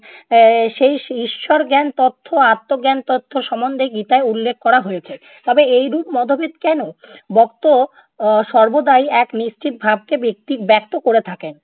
এর সেই ঈ~ ঈশ্বর জ্ঞান তথ্য আত্মজ্ঞান তথ্য সম্বন্ধে গীতায় উল্লেখ করা হয়েছে। তবে এইরূপ মতভেদ কেনো? বক্তা আহ সর্বদাই এক নিশ্চিত ভাবকে ব্যক্তি~ ব্যক্ত করে থাকেন।